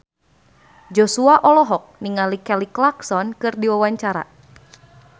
Joshua olohok ningali Kelly Clarkson keur diwawancara